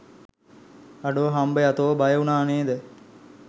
අඩෝ හම්බයා තෝ බය වුනා නේද